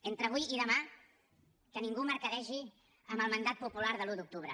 entre avui i demà que ningú mercadegi amb el mandat popular de l’un d’octubre